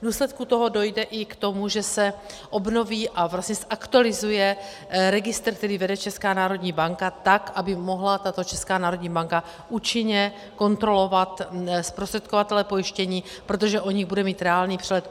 V důsledku toho dojde i k tomu, že se obnoví a vlastně zaktualizuje registr, který vede Česká národní banka, tak aby mohla tato Česká národní banka účinně kontrolovat zprostředkovatele pojištění, protože o nich bude mít reálný přehled.